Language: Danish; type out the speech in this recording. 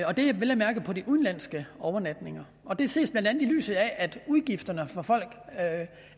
og det er vel at mærke på de udenlandske overnatninger det ses blandt andet i lyset af at udgifterne for folk